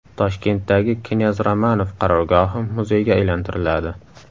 Toshkentdagi knyaz Romanov qarorgohi muzeyga aylantiriladi.